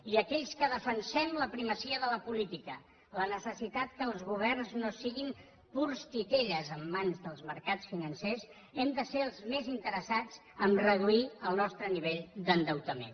i aquells que defensem la primacia de la política la necessitat que els governs no siguin purs titelles en mans dels mercats financers hem de ser els més interessats a reduir el nostre nivell d’endeutament